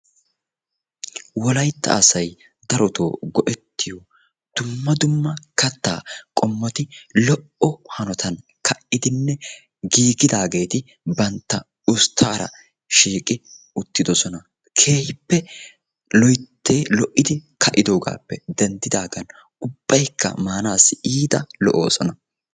Wolaytta asaay darotto goetiyo dumma dumma katta qommotti lo'o hanotan kaidine giggidageti bantta usttara shiiqqi uttidosona. Keehippe loytti lo'iddi kaidogappe dendidogan ubbayka maanawu lo'osona.